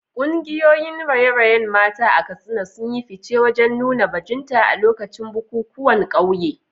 Kungiyoyin raye-rayen mata a Katsina sun yi fice wajen nuna bajinta a lokacin bukukuwan kauye.